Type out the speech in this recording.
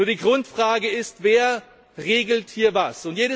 Die Grundfrage ist Wer regelt hier was?